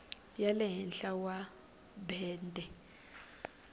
ya le henhla wa bende